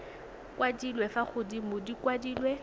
kwadilwe fa godimo di kwadilwe